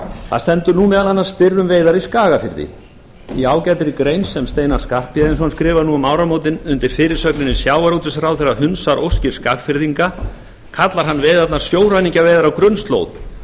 það stendur nú meðal annars spyr um veiðar í skagafirði í ágætri grein sem steinar skarphéðinsson skrifar nú um áramótin undir fyrirsögninni sjávarútvegsráðherra hunsar óskir skagfirðinga kallar hann veiðarnar sjóræningjaveiðar á grunnslóð